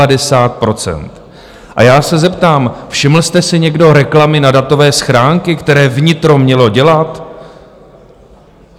A já se zeptám: Všiml jste si někdo reklamy na datové schránky, které vnitro mělo dělat?